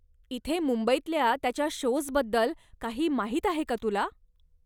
इथे मुंबईतल्या त्याच्या शोज् बद्दल काही माहीत आहे का तुला?